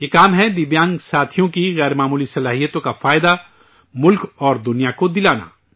یہ کام ہے دِویانگ ساتھیوں کی غیر معمولی صلاحیتوں کا فائدہ ملک اور دنیا کو دلانا